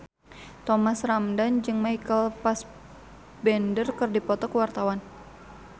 Thomas Ramdhan jeung Michael Fassbender keur dipoto ku wartawan